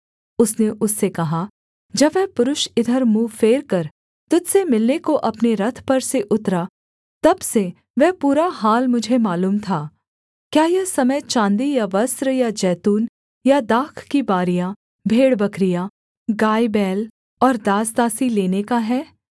उसने उससे कहा जब वह पुरुष इधर मुँह फेरकर तुझ से मिलने को अपने रथ पर से उतरा तब से वह पूरा हाल मुझे मालूम था क्या यह समय चाँदी या वस्त्र या जैतून या दाख की बारियाँ भेड़बकरियाँ गाय बैल और दासदासी लेने का है